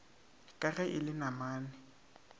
ka ge e le namane